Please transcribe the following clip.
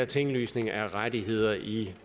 tinglysning af rettigheder i